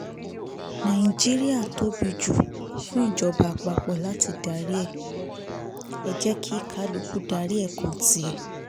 nàìjíríà tóbi jù fún ìjọba àpapọ̀ láti darí ẹ̀ jẹ́ kí kálukú darí ẹkùn tiẹ̀